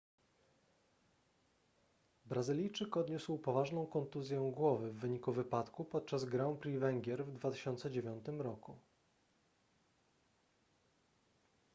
brazylijczyk odniósł poważną kontuzję głowy w wyniku wypadku podczas grand prix węgier w 2009 roku